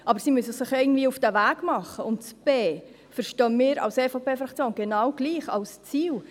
Aber sie müssen sich ja irgendwie auf den Weg machen, und b verstehen wir als EVP-Fraktion genau gleich, als Ziel.